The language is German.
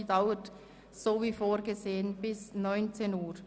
Diese dauert wie vorgesehen bis 19.00 Uhr.